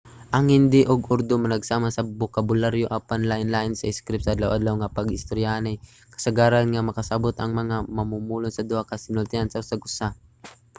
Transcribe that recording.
ang hindi ug urdu managsama sa bokabularyo apan lainlain sa iskrip; sa adlaw-adlaw nga pag-istoryahanay kasagaran nga makasabot ang mga mamumulong sa duha ka sinultian sa usag usa